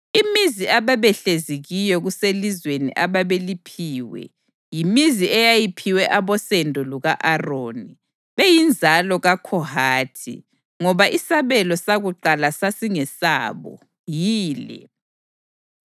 Imizi ababehlezi kiyo kuselizweni ababeliphiwe (yimizi eyayiphiwe abosendo luka-Aroni beyinzalo kaKhohathi, ngoba isabelo sakuqala sasingesabo) yile: